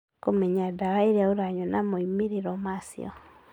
Kũmenya ndawa iria ũranyua na moimĩrĩro ma cio